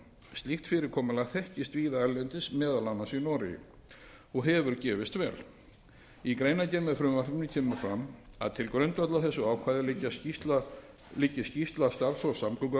slíkt fyrirkomulag þekkist víða erlendis meðal annars í noregi og hefur gefist vel í greinargerð með frumvarpinu kemur fram að til grundvallar þessu ákvæði liggi skýrsla starfshóps samgönguráðuneytis